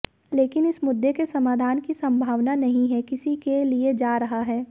लेकिन इस मुद्दे के समाधान की संभावना नहीं है किसी के लिए जा रहा है